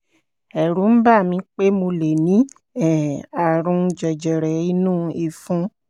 ẹ̀rù ń bà mí pé mo lè ní um ààrùn jẹjẹrẹ inú ìfun